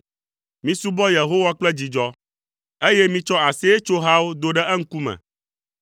Misubɔ Yehowa kple dzidzɔ, eye mitsɔ aseyetsohawo do ɖe eŋkume.